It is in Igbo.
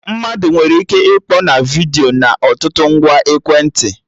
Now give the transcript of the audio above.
Mmadụ nwere ike ịkpọ na vidiyo na ọtụtụ ngwa ekwentị